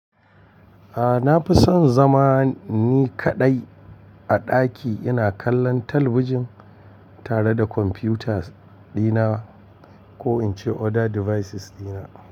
A na fi son zama ni kaɗai a ɗaki ina kallon talabijin tare da kwamfuta dina ko in ce other devices dina.